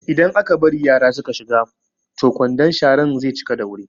Idan aka bari yara su ka shiga toh kwandon sharan ze cika da wuri